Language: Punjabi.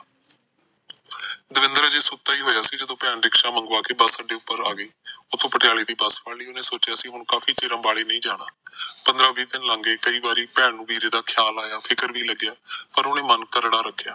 ਦਵਿੰਦਰ ਅਜੇ ਸੁਤਾ ਈ ਹੋਇਆ ਸੀ ਜਦੋ ਭੈਣ ਰਿਕਸ਼ਾ ਮੰਗਵਾਕੇ ਬੱਸ ਅੱਡੇ ਉੱਪਰ ਆਗੀ ਉਹਨੇ ਪਟਿਆਲੇ ਦੀ ਬੱਸ ਫੜ ਲਈ ਉਸਨੇ ਆਖਿਆ ਕਾਫੀ ਚਿਰ ਅੰਬਾਲੇ ਨਹੀਂ ਜਾਣਾ ਪੰਦਰਾ ਵੀਹ ਦਿੰਨ ਲੰਘ ਗਏ ਕਈ ਵਾਰ ਭੈਣ ਨੂੰ ਵੀਰੇ ਦਾ ਖਿਆਲ ਆਇਆ ਫਿਕਰ ਵੀ ਲੱਗਿਆ ਪਰ ਉਹਨੇ ਮਨ ਤਗੜਾ ਰੱਖਿਆ